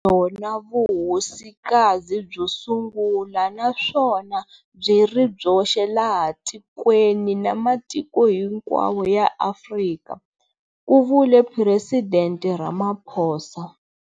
Byona Vuhosika zi byo sungula naswona byi ri byoxe laha tikweni na matiko hinkwawo ya Afrika, ku vule Presidente Ramaphosa.